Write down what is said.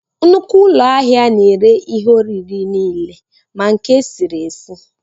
Nnukwu ụlọ ahịa na-ere ihe oriri nile ma nke esiri esi